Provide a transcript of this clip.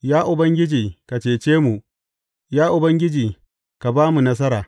Ya Ubangiji, ka cece mu; Ya Ubangiji, ka ba mu nasara.